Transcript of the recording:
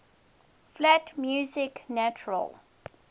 flat music natural